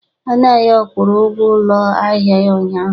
Anayo kwụrụ ụgwọ ụlọ ahịa ya ụnyaahụ.